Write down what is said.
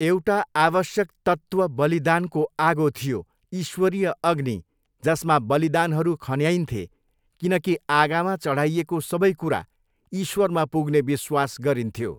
एउटा आवश्यक तत्त्व बलिदानको आगो थियो, ईश्वरीय अग्नि, जसमा बलिदानहरू खन्याइन्थे, किनकि आगामा चढाइएको सबै कुरा ईश्वरमा पुग्ने विश्वास गरिन्थ्यो।